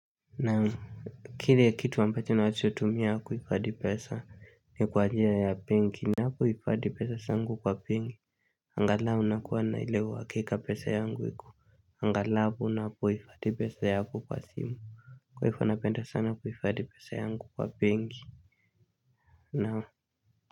Naam, kile kitu ambacho nachotumia kuifadi pesa ni kwa njia ya penki. Napo ifadi pesa sangu kwa pen Angalau nakuwa na ile uhakika pesa yangu iku Angalau napo hifadhi pesa yangu kwa simu Kwa hifo napenda sana kuifadi pesa yangu kwa penki naam.